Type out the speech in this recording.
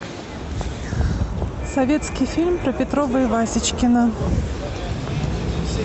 советский фильм про петрова и васечкина